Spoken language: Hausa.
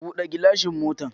Buɗe gilashin motar